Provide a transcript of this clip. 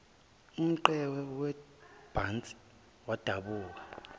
umqhewu webhantshi wadabuka